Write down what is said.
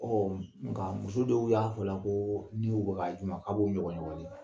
Ɔ nka muso dɔw y'a fɔ la ko ni u bɛ k'a d'u ma k'a b'u ɲɔgɔn ɲɔgɔni.